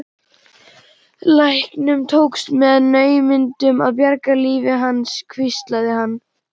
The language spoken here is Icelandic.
Læknunum tókst með naumindum að bjarga lífi hans hvíslaði hann.